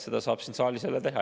Seda saab siin saalis teha.